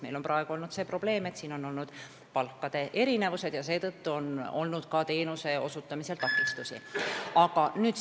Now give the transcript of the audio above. Meil on praegu see probleem, et siin on olnud palkade erinevusi, mistõttu on ka teenuse osutamisel takistusi olnud.